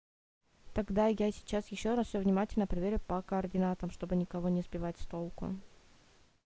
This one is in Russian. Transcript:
тогда я сейчас ещё раз все внимательно проверю по координатам чтобы никого не сбивать с толку